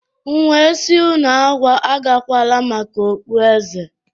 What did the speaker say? M wee sị unu agakwala maka okpueze!